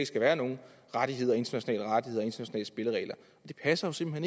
skal være nogen rettigheder internationale rettigheder internationale spilleregler det passer jo simpelt